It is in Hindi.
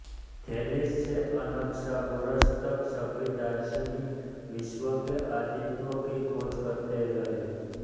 थेलीज़ से अनक्सागोरस तक सभी दार्शनिक विश्व के आदितत्व की खोज करते रहे